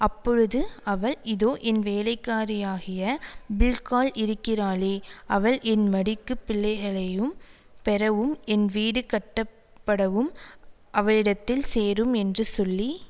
அப்பொழுது அவள் இதோ என் வேலைக்காரியாகிய பில்காள் இருக்கிறாளே அவள் என் மடிக்குப் பிள்ளைகளையும் பெறவும் என் வீடு கட்டப்படவும் அவளிடத்தில் சேரும் என்று சொல்லி